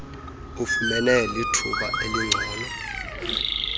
ufumene lithuba elingcono